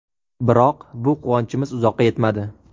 Biroq bu quvonchimiz uzoqqa yetmadi.